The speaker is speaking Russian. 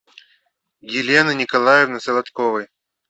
елены николаевны солодковой